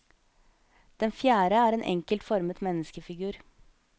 Den fjerde er en enkelt formet menneskefigur.